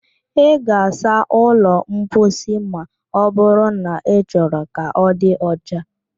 Ị ga-asa ụlọ mposi ma ọbụrụ na ị chọrọ ka ọ di ọcha